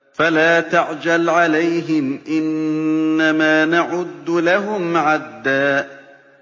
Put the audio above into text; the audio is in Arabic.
فَلَا تَعْجَلْ عَلَيْهِمْ ۖ إِنَّمَا نَعُدُّ لَهُمْ عَدًّا